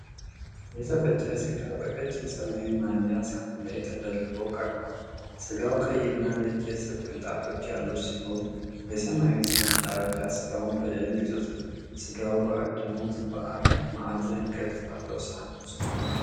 የተፈጨ ሥጋ በቀጭን ሰማያዊ መያዣ ሳህን ላይ ተደርድሮ ቀርቧል። ሥጋው ቀይ እና ነጭ የስብ ቅንጣቶች ያሉት ሲሆን የሰማያዊው ሳህን ዳርቻ ሥጋውን በደንብ ይዞታል። ሥጋው በአግድመት አራት ማዕዘን ቅርጽ ባለው ሳህን ውስጥ ተሞልቷል።